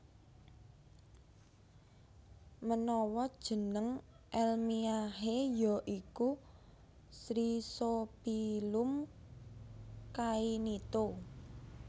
Menawa jeneng elmiahe ya iku Chrysophyllum cainito